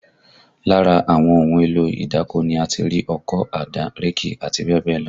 Lára àwọn ohun èlò ìdáko ni a ti rí ọkọ́, àdá, réèkì àti bẹ́ẹ̀ bẹ́ẹ̀ lọ